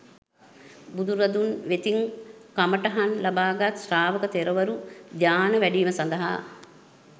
බුදුරදුන් වෙතින් කමටහන් ලබාගත් ශ්‍රාවක තෙරවරු ධ්‍යාන වැඩීම සඳහා